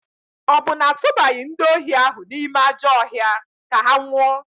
Ọ bụ na a tụbaghị ndị ohi ahụ n'ime ajọ ọhịa ka ha nwụọ?